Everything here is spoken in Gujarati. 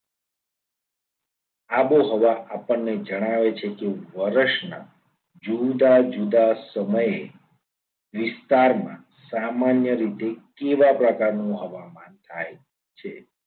આબોહવા આપણને જણાવે છે. કે વર્ષના જુદા જુદા સમયે વિસ્તારમાં સામાન્ય રીતે કેવા પ્રકારનું હવામાન થાય છે.